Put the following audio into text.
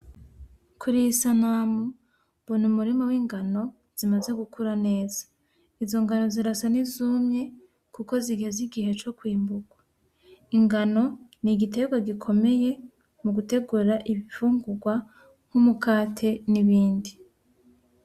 Kuriyi sanamu ubona umurima w'ingano zimaze gukura neza. Izo ngano zirasa n'izumye kuko zigeze igihe co kwimbura. Ingano ni igiterwa gokomeye mu gutegura imfungurwa nk'umukate n'ibindi.